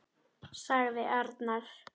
sagði arnar.